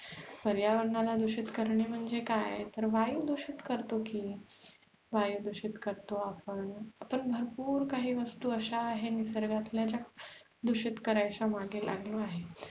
पर्यावरणाला दूषित करणे म्हणजे काय तर वायु दुषित करतो की वायु दुषित करतो आपण भरपूर काही वस्तु अश्या आहेत निसर्गातल्या दूषित करायच्या मागे लागलो आहेत